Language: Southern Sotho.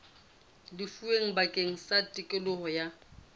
lefuweng bakeng sa tokelo ya